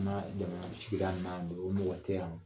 sigida naani o mɔgɔ tɛ yan.